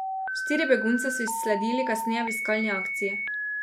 Štiri begunce so izsledili kasneje v iskalni akciji.